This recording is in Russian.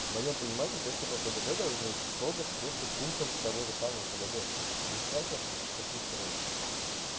в моём понимании тесты по пдд должны строго соответствовать пунктам того же самого пдд без всяких каких-то вот